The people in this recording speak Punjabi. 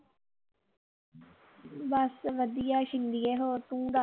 ਬਸ ਵਧੀਆ ਛਿੰਦੀਏ ਹੋਰ ਤੂੰ ਦੱਸ